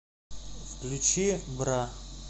включи бра